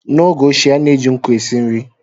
N’oge ochie, a na-eji nkụ esi nri